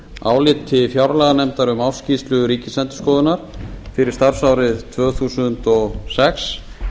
áliti fjárlaganefndar um ársskýrslu ríkisendurskoðunar fyrir starfsárið tvö þúsund og sex